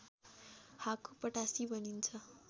हाकु पटासी भनिन्छ